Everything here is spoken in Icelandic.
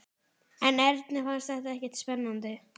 En Erni fannst þetta ekkert spennandi.